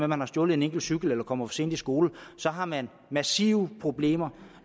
man har stjålet en enkelt cykel eller kommer for sent i skole så har man massive problemer